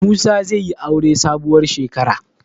Musa zai yi aure sabuwar shekara.